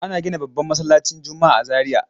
Ana gina babban masallaci juma'a a Zariya.